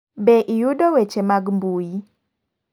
Be iyudo weche mag mbui ?